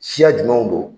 Siya jumɛnw don